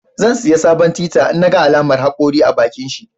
Zan saya tita in naga alaman hakori a bakinshi